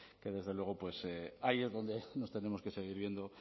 que desde luego pues ahí es donde nos tenemos que seguir viendo